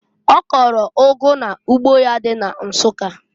Ọ kọlụ ụgụ n'ugbo ya dị na Nsukka.